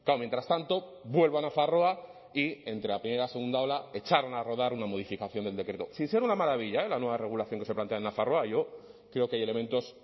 mientras tanto vuelvo a nafarroa y entre la primera y la segunda ola echaron a rodar una modificación del decreto sin ser una maravilla eh la nueva regulación que se plantea en nafarroa yo creo que hay elementos